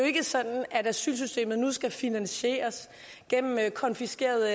ikke sådan at asylsystemet nu skal finansieres gennem konfiskerede